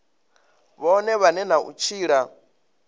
vhone vhane na u tshila